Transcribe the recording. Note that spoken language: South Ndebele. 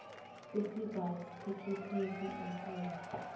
festivals taking place in april